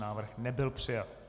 Návrh nebyl přijat.